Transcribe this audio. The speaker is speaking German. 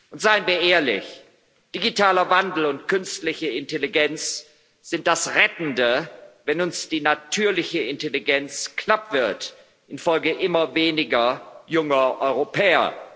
Und seien wir ehrlich Digitaler Wandel und künstliche Intelligenz sind das Rettende, wenn uns die natürliche Intelligenz knapp wird infolge immer weniger junger Europäer.